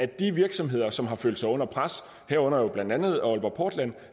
de virksomheder som har følt sig under pres herunder jo blandt andet aalborg portland